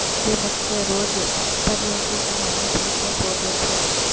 جو مجھ سے روز پریوں کی کہانی سن کے سوتے تھے